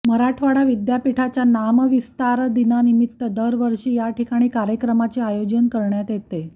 मराठवाडा विद्यापीठाच्या नामविस्तार दिनानिमित्त दरवर्षी याठिकाणी कार्यक्रमाचे आयोजन करण्यात येते